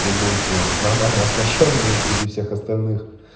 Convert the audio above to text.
вы будете нормально оснащённые среди всех остальных